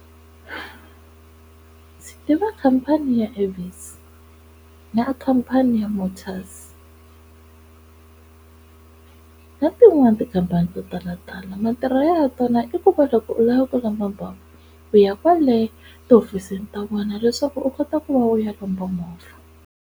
Ndzi tiva khampani ya Avis na khampani ya Motas na tin'wani tikhampani to tala tala matirhelo ya tona i ku va loko u lava ku lomba u ya kwale tihofisini ta vona leswaku u kota ku va u ya lomba movha.